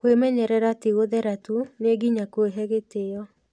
Kwĩmenyerera ti gũthera tu, nĩ nginya kwĩhe gĩtĩo.